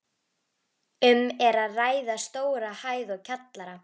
Um er að ræða stóra hæð og kjallara.